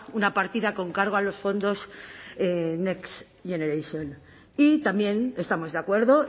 una partida con cargo a los fondos next generation y también estamos de acuerdo